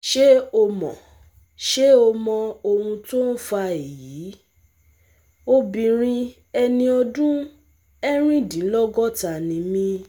Ṣé o mọ Ṣé o mọ ohun tó ń fa èyí? obìnrin ẹni ọdún erindinlogota ni mí